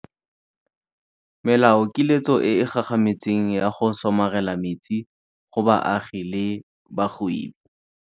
melaokiletso e e gagametseng ya go somarela metsi go baagi le bagwebi.